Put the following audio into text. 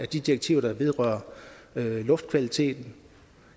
de direktiver der vedrører luftkvaliteten